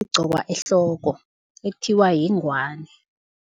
igqokwa ehloko, ekuthiwa yingwani.